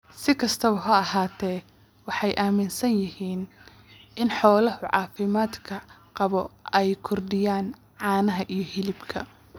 Si kastaba ha ahaatee, waxay aaminsan yihiin in xoolaha caafimaadka qaba ay kordhiyaan caanaha iyo hilibka.